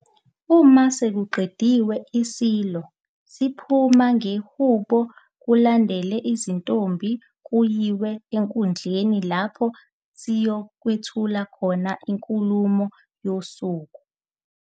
Uma sekuqediwe iSilo siphuma ngehubo kulandele izintombi kuyiwe enkundleni lapho siyokwethula khona inkulumo yosuku.